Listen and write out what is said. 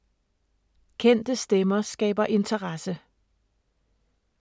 Kendte stemmer skaber interesse